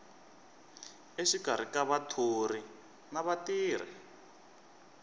exikarhi ka vathori na vatirhi